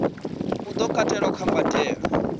u do katelwa kha mbadelo